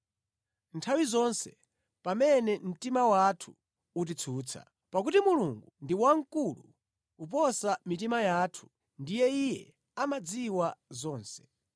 nthawi zonse pamene mtima wathu utitsutsa. Pakuti Mulungu ndi wamkulu kuposa mitima yathu ndipo Iye amadziwa zonse.